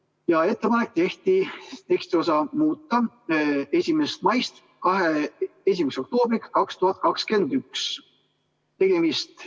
Tehti ettepanek asendada tekstiosa "2021. aasta 1. maiks" tekstiosaga "2021. aasta 1. oktoobriks".